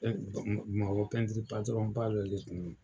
Ee bamakɔ pɛntiri patɔrɔn ba dɔ de kun don.